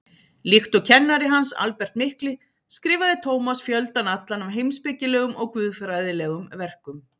Líkt og kennari hans, Albert mikli, skrifaði Tómas fjöldann allan af heimspekilegum og guðfræðilegum verkum.